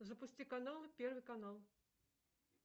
запусти каналы первый канал